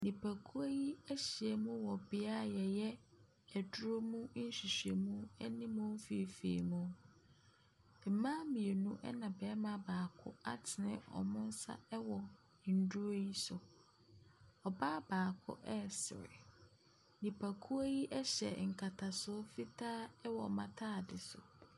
Nipakuo yi ahyia mu wɔ bea yɛyɛ aduro mu nhwehwɛmu ɛne mu nfiifiimuu. Mmaa mmienu ɛne barima baako atene wɔn nsa ɛwɔ nnuro yi so. Ɔbaa baako ɛresre. Nipakuo yi ɛhyɛ nkatasoɔ fitaa ɛwɔ wɔn ntaade so.